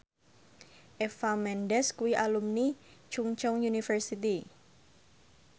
Eva Mendes kuwi alumni Chungceong University